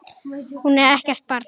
Hún er ekkert barn.